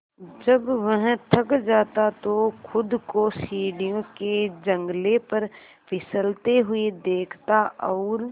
जब वह थक जाता तो खुद को सीढ़ियों के जंगले पर फिसलते हुए देखता और